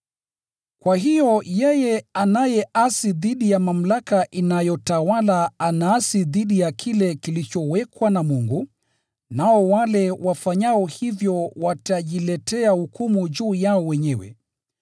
Kwa hiyo yeye anayeasi dhidi ya mamlaka inayotawala anaasi dhidi ya kile kilichowekwa na Mungu, nao wale wafanyao hivyo watajiletea hukumu juu yao wenyewe.